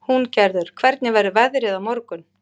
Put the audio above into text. Húngerður, hvernig verður veðrið á morgun?